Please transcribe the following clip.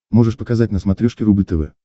можешь показать на смотрешке рубль тв